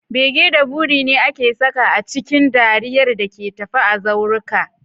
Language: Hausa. Bege da buri ne aka saka a cikin dariyar da ke tafe a zauruka